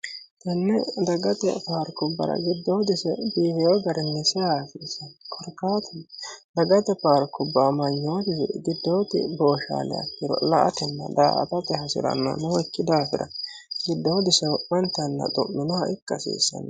Kone dagate paarkubbara giddoodise biifino garinni seeyinoha dagate paarkubba amanyoti giddodi booshaliha ikkiro la'atenna daa"attate hasiranohu nooyikki daafira giddoodise wo'mante yannara xumminoha ikka hasiisano.